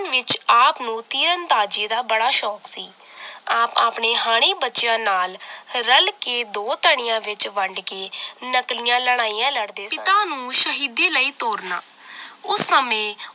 ਵਿੱਚ ਆਪ ਨੂੰ ਤੀਰਨਦਾਜੀ ਦਾ ਬੜਾ ਸ਼ੋਂਕ ਸੀ ਆਪ ਆਪਣੇ ਹਾਣੀ ਬੱਚਿਆਂ ਨਾਲ ਰੱਲ ਤੇ ਦੋ ਤਣਿਆਂ ਵਿਚ ਵੰਡ ਕੇ ਨਕਲੀਆਂ ਲੜਾਈਆਂ ਲੜਦੇ ਪਿਤਾ ਨੂੰ ਸ਼ਹੀਦੀ ਲਈ ਤੋਰਨਾ ਉਸ ਸਮੇਂ